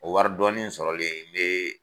O wari dɔɔni sɔrɔlen nbee.